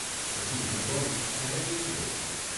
પછી હું કહું ત્યારે પીરસી દેજો.